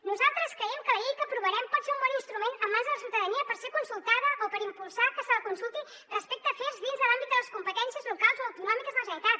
nosaltres creiem que la llei que aprovarem pot ser un bon instrument en mans de la ciutadania per ser consultada o per impulsar que se la consulti respecte a afers dins de l’àmbit de les competències locals o autonòmiques de la generalitat